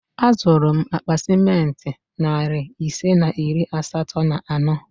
Azụrụ m akpa ciment narị ise na iri asatọ na ano